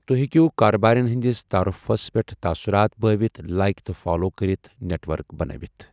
توہہِ ہٮ۪کِوٛ کارٕبٲرٮ۪ن ہنٛدس تعارُفس پیٹھ تعاثُرات بٲوِتھ ، لایك تہٕ فالو كرِتھ نٮ۪ٹ وٕرِک بَنٲوِتھ۔